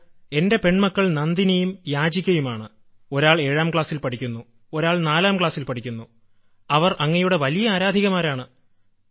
sir എന്റെ പെൺമക്കൾ നന്ദിനിയും യാചികയുമാണ് ഒരാൾ ഏഴാം ക്ലാസിൽ പഠിക്കുന്നു ഒരാൾ നാലാം ക്ലാസിൽ പഠിക്കുന്നു അവർ അങ്ങയുടെ വലിയ ആരാധികമാരാണ്